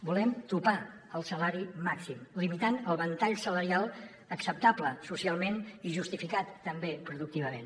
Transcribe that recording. volem topar el salari màxim limitant el ventall salarial acceptable socialment i justificat també productivament